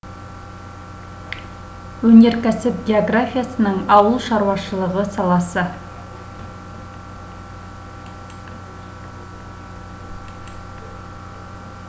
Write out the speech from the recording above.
өнеркәсіп географиясының ауыл шаруашылығы саласы